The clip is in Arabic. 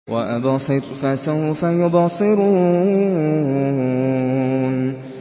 وَأَبْصِرْ فَسَوْفَ يُبْصِرُونَ